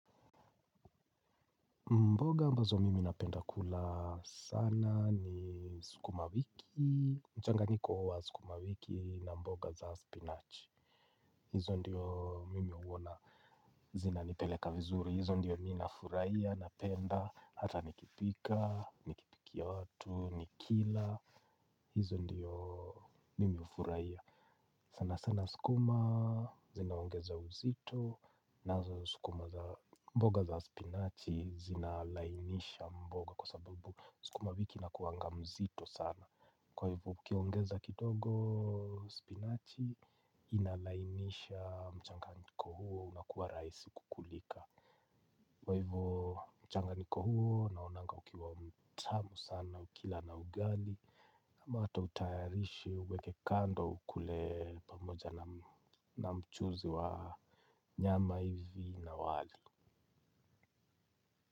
Mboga ambazo mimi napenda kula sana ni sukuma wiki, mchanganyiko wa sukuma wiki na mboga za spinach. Hizo ndiyo mimi huwona zinanipeleka vizuri, hizo ndiyo nina furahia, napenda, hata nikipika, nikipikia watu, nikila, hizo ndiyo mimi hufurahia. Sana sana sukuma zinaongeza uzito na sukuma za mboga za spinachi zinalainisha mboga kwa sababu sukuma wiki inakuanga mzito sana, kwa hivyo ukiongeza kidogo spinachi inalainisha mchanganyiko huo unakuwa rahisi kulika. Kwa hivyo mchanganyiko huo naonanga ukiwa mtamu sana ukila na ugali, utayarishe uweke kando, ukule pamoja na mchuzi wa nyama hivi na wali.